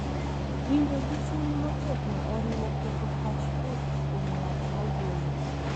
Winjo gi chuny motegno oriwo keto pach chuth kuom ng’at ma wuoyo,